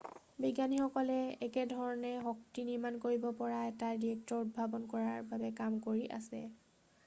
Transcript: বিজ্ঞানীসকলে একে ধৰণে শক্তি নিৰ্মাণ কৰিব পৰা এটা ৰিয়েক্টৰ উদ্ভাৱন কৰাৰ বাবে কাম কৰি আছে